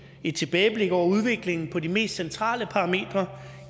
et tilbageblik over udviklingen på de mest centrale parametre